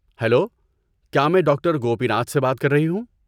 Hello, کیا میں doctor Gopinath سے بات کر رہی ہوں؟